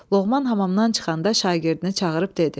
Loğman hamamdan çıxanda şagirdini çağırıb dedi: